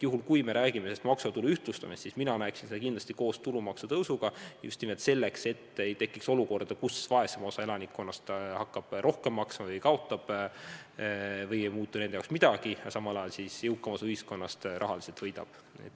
Kui me räägime maksuvaba tulu ühtlustamisest, siis mina näeksin seda kindlasti koos tulumaksu tõusuga – just nimelt selleks, et ei tekiks olukorda, kus vaesem osa elanikkonnast hakkab rohkem maksma või kaotab või ei muutu nende jaoks midagi, aga samal ajal jõukam osa ühiskonnast rahaliselt võidab.